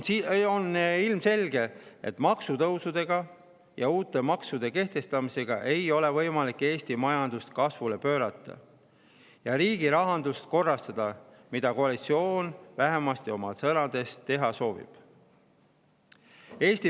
On ilmselge, et maksutõusudega ja uute maksude kehtestamisega ei ole võimalik Eesti majandust kasvule pöörata ja riigi rahandust korrastada, mida koalitsioon vähemasti sõnades teha soovib.